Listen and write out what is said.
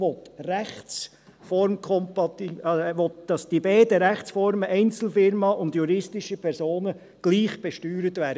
– Dieser Artikel will, dass diese beiden Rechtsformen, Einzelfirmen und juristische Personen, gleich besteuert werden.